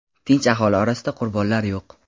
tinch aholi orasida qurbonlar yo‘q.